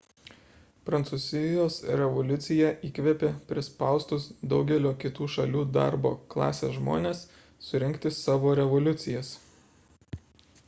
prancūzijos revoliucija įkvėpė prispaustus daugelio kitų šalių darbo klasės žmones surengti savo revoliucijas